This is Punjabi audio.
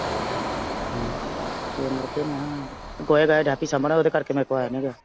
ਫਿਰ ਮੁੜ ਕੇ ਮੈਂ ਕਿਹਾ ਗੋਹਾ ਗਇਆ ਡੈ ਪਈ ਸਾਂਭਣ ਉਹਦੇ ਕਰਕੇ ਮੈਥੋਂ ਆਇਆ ਨਈਂ ਗਿਆ।